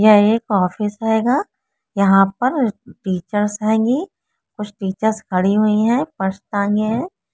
यह एक ऑफिस आएगा। यहां पर टीचर्स आएंगे कुछ टीचर्स खड़ी हुई है पछताएंगे है।